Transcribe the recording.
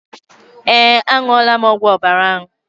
Eé, aṅụọla m ọgwụ ọbara ahụ.